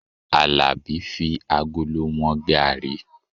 Alabi fi agolo wọn garri